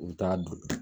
U bɛ taa don